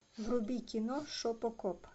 вруби кино шопокоп